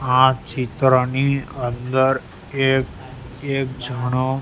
આ ચિત્રની અંદર એક એક જણો--